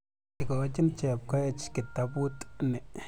Ikochin Chepkoech kitaput ni.